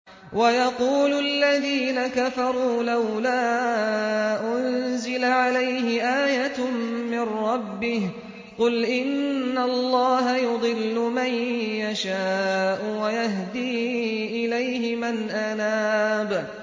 وَيَقُولُ الَّذِينَ كَفَرُوا لَوْلَا أُنزِلَ عَلَيْهِ آيَةٌ مِّن رَّبِّهِ ۗ قُلْ إِنَّ اللَّهَ يُضِلُّ مَن يَشَاءُ وَيَهْدِي إِلَيْهِ مَنْ أَنَابَ